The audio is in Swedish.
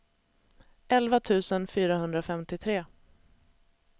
elva tusen fyrahundrafemtiotre